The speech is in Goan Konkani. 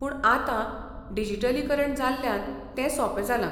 पूण आतां डिजिटलीकरण जाल्ल्यान ते सोपें जालां.